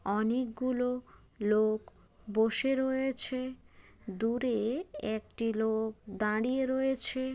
অনেক গুলো লোক বসে রয়েছে দূরে-এ একটি লোক দাড়িয়ে রয়েছে।